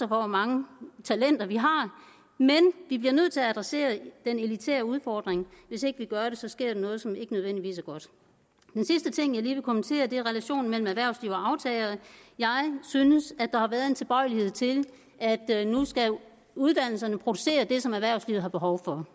hvor mange talenter vi har men vi bliver nødt til at adressere den elitære udfordring og hvis ikke vi gør det så sker der noget som ikke nødvendigvis er godt den sidste ting jeg lige vil kommentere er relationen mellem erhvervsliv og aftagere jeg synes at der har været en tilbøjelighed til at nu skal uddannelserne producere det som erhvervslivet har behov for